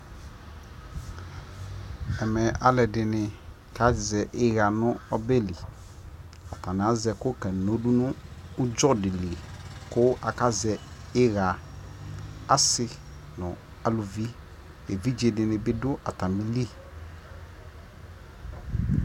ɛmɛ alʋɛdini kazɛ iya nʋ ɔbɛli, ataniazɛ ɛkʋ ka di nʋ ʋdzɔ dili kʋ aka zɛ iya, asii nʋ alʋvi, ɛvidzɛ dini bi dʋ atamili